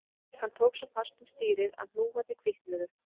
Hann tók svo fast um stýrið að hnúarnir hvítnuðu